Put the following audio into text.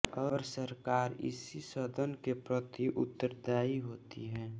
और सरकार इसी सदन के प्रति उत्तरदायी होती है